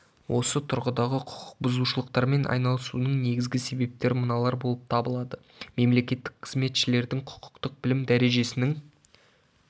осы тұрғыдағы құқық бұзушылықтармен айналысуының негізгі себептері мыналар болып табылады мемлекеттік қызметшілердің құқықтық білім дәрежесінің